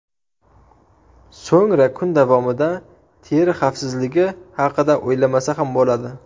So‘ngra kun davomida teri xavfsizligi haqida o‘ylamasa ham bo‘ladi.